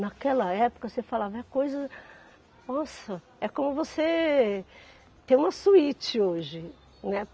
Naquela época, você falava, é coisa Nossa, é como você ter uma suíte hoje, né.